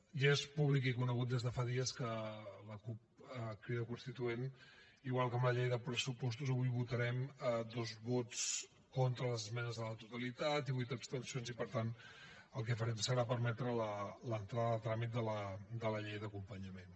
ja és públic i conegut des de fa dies que la cup crida constituent igual que amb la llei de pressupostos avui votarem dos vots contra les esmenes a la totalitat i vuit abstencions i per tant el que farem serà permetre l’entrada a tràmit de la llei d’acompanyament